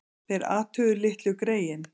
Þeir athuguðu litlu greyin.